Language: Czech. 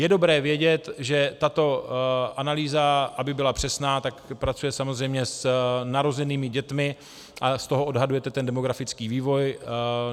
Je dobré vědět, že tato analýza, aby byla přesná, tak pracuje samozřejmě s narozenými dětmi a z toho odhadujete ten demografický vývoj.